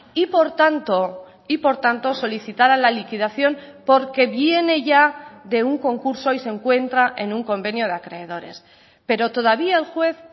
y por tanto y por tanto solicitará la liquidación porque viene ya de un concurso y se encuentra en un convenio de acreedores pero todavía el juez